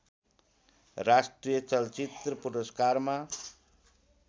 राष्ट्रिय चलचित्र पुरस्कारमा